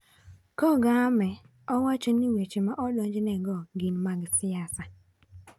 Kagame, owacho ni weche ma odonjnego gin mag siasa.